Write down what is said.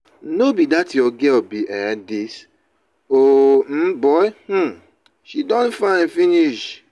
no be dat your girl be um dis o um boy um she don fine finish